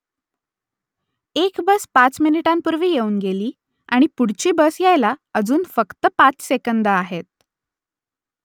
एक बस पाच मिनिटांपूर्वी येऊन गेली आणि पुढची बस यायला अजून फक्त पाच सेकंदं आहेत